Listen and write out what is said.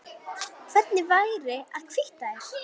Hvernig væri að hvítta þær?